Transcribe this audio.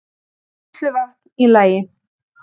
Neysluvatn í lagi